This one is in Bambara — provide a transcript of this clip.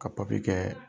Ka papiye kɛ